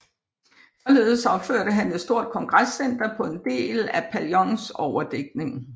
Således opførte han et stort kongrescenter på en del af Paillons overdækning